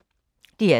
DR P2